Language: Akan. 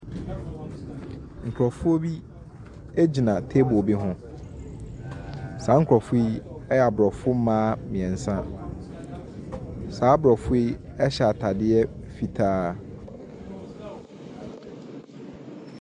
Nkurɔfoɔ bi gyina table bi ho. Saa nkurɔfoɔ yɛ Aborɔfo mmaa mmeɛnsa. Saa Aborɔfo yi hyɛ atadeɛ fitaa.